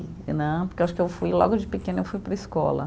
Né, porque acho que eu fui logo de pequena, eu fui para a escola.